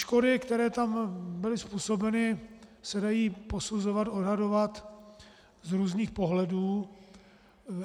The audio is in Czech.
Škody, které tam byly způsobeny, se dají posuzovat, odhadovat z různých pohledů.